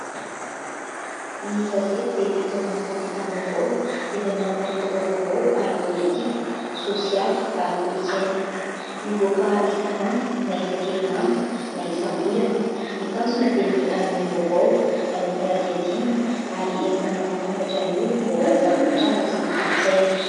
Ny gazety dia fitaovana fampitam-baovao izay manaparitaka vaovao ara-politika, sosialy ary kolontsaina. Mivoaka isan'andro na isan-kerinandro na isam-bolana. Ny tanjona dia ny hanome vaovao, anao fanadihadihana ary entina mampafantatra ny olona momba ny zava-mitranga sy ny kolontsaina.